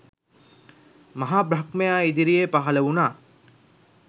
මහ බ්‍රහ්මයා ඉදිරියේ පහළ වුණා.